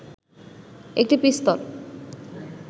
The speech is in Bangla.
একটি পিস্তল